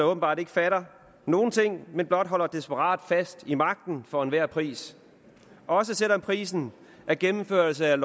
åbenbart ikke fatter nogen ting men blot holder desperat fast i magten for enhver pris også selv om prisen er gennemførelse af